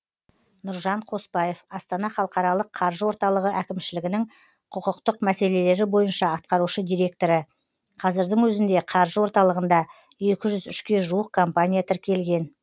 нұржан қоспаев астана халықаралық қаржы орталығы әкімшілігінің құқықтық мәселелері бойынша атқарушы директоры қазірдің өзінде қаржы орталығында екі жүз үшке жуық компания тіркелген